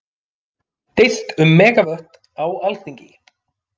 Deilt um megavött á Alþingi